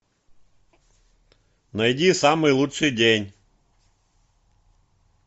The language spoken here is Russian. найди самый лучший день